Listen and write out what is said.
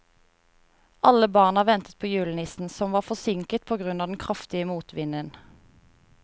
Alle barna ventet på julenissen, som var forsinket på grunn av den kraftige motvinden.